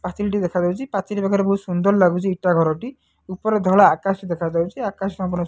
ପାଚେରିଟେ ଦେଖା ଯାଉଚି ପାଚେରି ପାଖରେ ବୋହୁତ ସୁନ୍ଦର ଲାଗୁଚି ଇଟା ଘରଟି ଉପରେ ଧଳା ଆକାଶ ଦେଖା ଯାଉଚି ଆକାଶ --